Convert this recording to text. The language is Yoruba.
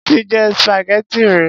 Mo ti jẹ spaghetti rí.